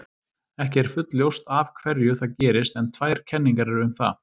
Ekki er fullljóst af hverju það gerist en tvær kenningar eru um það.